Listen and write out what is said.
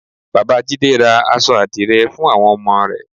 Bàbá jídé ra aṣọ àdìrẹ fún àwọn ọmọ rẹ̀